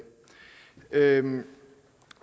lade